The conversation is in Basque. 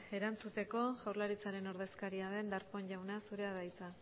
erantzuteko jaurlaritzaren ordezkaria den darpón jauna zurea da hitza